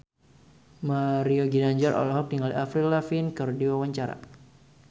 Mario Ginanjar olohok ningali Avril Lavigne keur diwawancara